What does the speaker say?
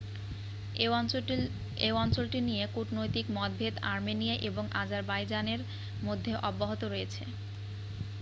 এই অঞ্চলটি নিয়ে কূটনৈতিক মতভেদ আর্মেনিয়া এবং আজারবাইজানের মধ্যে অব্যাহত রয়েছে